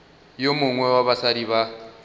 yo mongwe wa basadi ba